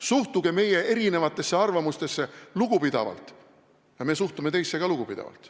Suhtuge meie erinevatesse arvamustesse lugupidavalt ja me suhtume teisse ka lugupidavalt.